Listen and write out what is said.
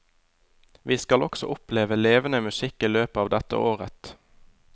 Vi skal også oppleve levende musikk i løpet av dette året.